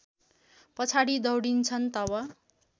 पछाडि दौडिन्छन् तब